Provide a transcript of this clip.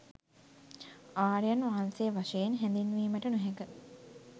ආර්යයන් වහන්සේ වශයෙන් හැඳින්වීමට නොහැක.